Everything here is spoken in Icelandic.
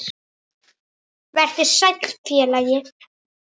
Vertu sæll, félagi.